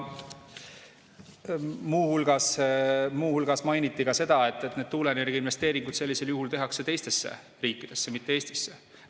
Muu hulgas mainiti ka seda, et tuuleenergia investeeringud tehakse sellisel juhul teistesse riikidesse, mitte Eestisse.